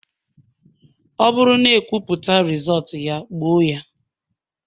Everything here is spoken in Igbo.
Ọ bụrụ na ekwuputa Rịzọọtu ya, gbuo ya